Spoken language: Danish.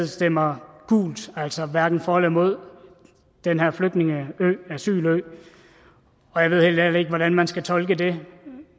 stemmer gult altså hverken for eller imod den her flygtningeø asylø og jeg ved helt ærligt ikke hvordan man skal tolke det